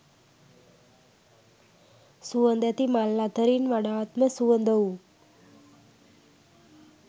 සුවඳැති මල් අතරින් වඩාත්ම සුවඳ වූ